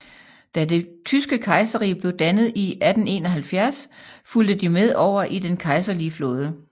Da det tyske kejserrige blev dannet i 1871 fulgte de med over i den kejserlige flåde